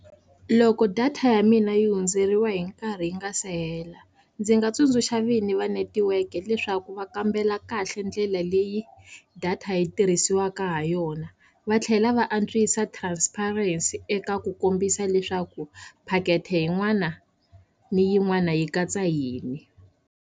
Loko data ya mina yi hundzeriwa hi nkarhi yi nga se hela ndzi nga tsundzuxa vini va netiweke leswaku va kambela kahle ndlela leyi data yi tirhisiwaka ha yona va tlhela va antswisa transparency eka ku kombisa leswaku packet-e yin'wana ni yin'wana yi katsa yini.